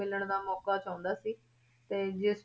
ਮਿਲਣ ਦਾ ਮੌਕਾ ਚਾਹੁੰਦਾ ਸੀ ਤੇ ਜਿਸ